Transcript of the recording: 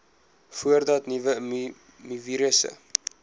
voordat nuwe mivirusse